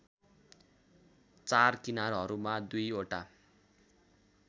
चार किनारहरूमा दुईवटा